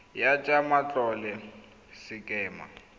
ya tsa matlole ya sekema